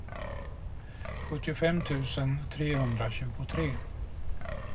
sjuttiofem tusen trehundratjugotre